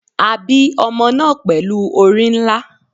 A bi omo naa pelu ori nla